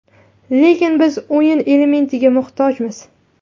Lekin biz o‘yin elementiga muhtojmiz.